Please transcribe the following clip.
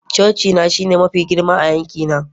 cocina shine mafi girma a yankina